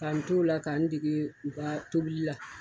Ka n t'o la ka n dege u ka tobili la.